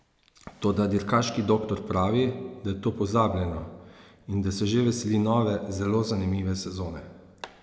Toda dirkaški doktor pravi, da je to pozabljeno in da se že veseli nove, zelo zanimive sezone.